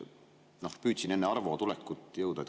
Noh, püüdsin enne Arvo tulekut jõuda.